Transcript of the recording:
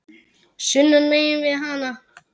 sunnan megin við hana.